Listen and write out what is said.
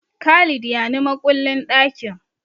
Khalid ya ni makullin ɗakin.